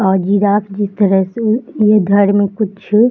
और जिराफ भी इस तरह से ये घर में कुछ --